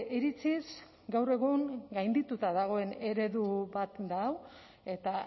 iritziz gaur egun gaindituta dagoen eredu bat da hau eta